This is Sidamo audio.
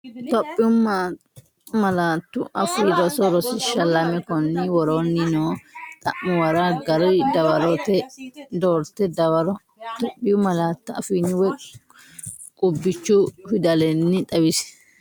Itophiyu Malaatu Afii Roso Rosiishsha Lame Konni woroonni noo xa’muwara gari dawaro doorte dawaro Itophiyu malaatu afiinni woy qubbichu fidalenni xawisse.